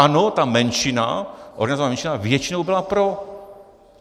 Ano, ta menšina, organizovaná menšina, většinou byla pro.